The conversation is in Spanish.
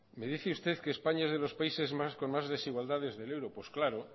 me dice usted que españa es de los países con más desigualdades del euro pues claro